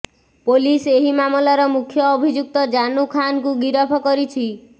police ଏହି ମାମଲାର ମୁଖ୍ୟ ଅଭିଯୁକ୍ତ ଜାନୁ ଖାନକୁ ଗିରଫ କରିଛି